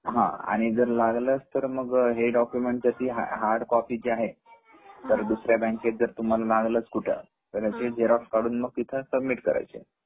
आणि जर लागलस तर मग या डॉकुमेन्ट ची जी हार्ड कॉपी आहे जर दुसर्या बँकेत जर मागितच कुठ तर ते झेरोक्स काढून तिथे सबमिट करायचे